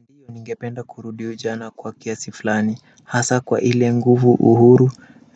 Ndiyo ningependa kurudi ujana kwa kiasi fulani hasa kwa ile nguvu uhuru